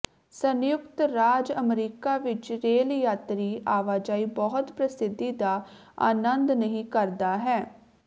ਸੰਯੁਕਤ ਰਾਜ ਅਮਰੀਕਾ ਵਿੱਚ ਰੇਲ ਯਾਤਰੀ ਆਵਾਜਾਈ ਬਹੁਤ ਪ੍ਰਸਿੱਧੀ ਦਾ ਆਨੰਦ ਨਹੀ ਕਰਦਾ ਹੈ